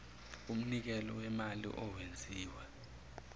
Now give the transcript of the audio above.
umnikelo wemali owenziwe